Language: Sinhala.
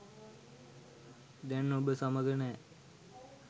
දැන් ඔබ සමඟ නෑ